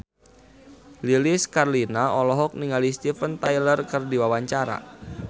Lilis Karlina olohok ningali Steven Tyler keur diwawancara